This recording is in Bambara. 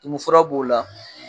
Tumun fura b'o la